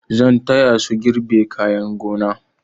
Zan taya su girbe kayan gona.